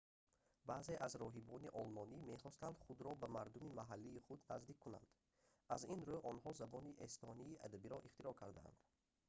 баъзе аз роҳибони олмонӣ мехостанд худоро ба мардуми маҳаллии худ наздик кунанд аз ин рӯ онҳо забони эстонии адабиро ихтироъ карданд